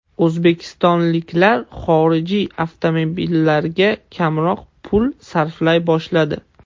O‘zbekistonliklar xorijiy avtomobillarga kamroq pul sarflay boshladi.